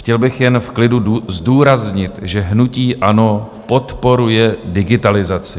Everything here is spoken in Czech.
Chtěl bych jen v klidu zdůraznit, že hnutí ANO podporuje digitalizaci.